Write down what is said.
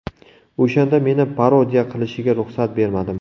O‘shanda meni parodiya qilishiga ruxsat bermadim.